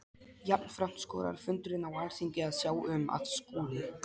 Jafnframt skorar fundurinn á Alþingi að sjá um, að Skúli